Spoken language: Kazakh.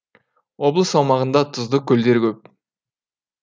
облыс аумағында тұзды көлдер көп